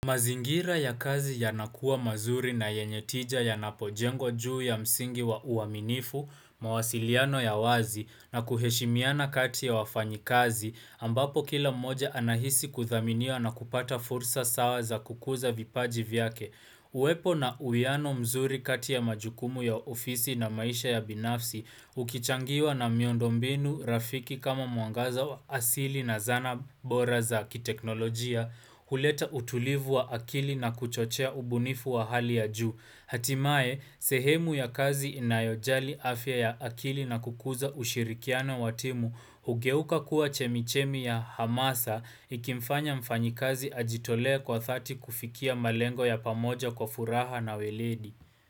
Mazingira ya kazi yanakuwa mazuri na yenye tija yanapojengwa juu ya msingi wa uaminifu, mawasiliano ya wazi, na kuheshimiana kati ya wafanyikazi, ambapo kila moja anahisi kuthaminiwa na kupata fursa sawa za kukuza vipaji vyake. Uwepo na uwiano mzuri kati ya majukumu ya ofisi na maisha ya binafsi, ukichangiwa na miondo mbinu, rafiki kama mwangaza wa asili na zana bora za kiteknolojia, huleta utulivu wa akili na kuchochea ubunifu wa hali ya juu. Hatimaye, sehemu ya kazi inayojali afya ya akili na kukuza ushirikiano wa timu, hugeuka kuwa chemichemi ya hamasa, ikimfanya mfanyikazi ajitolee kwa dhati kufikia malengo ya pamoja kwa furaha na uweledi.